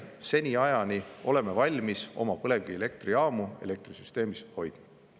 Seniajani oleme valmis oma põlevkivielektrijaamu elektrisüsteemis hoidma.